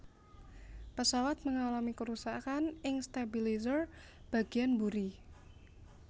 Pesawat mengalami kerusakan ing stabilizer bagiyan mburi